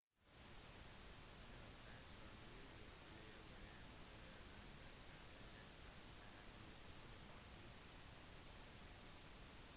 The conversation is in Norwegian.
når personene viser flere varianter av en bestemt egenskap er de polymorfiske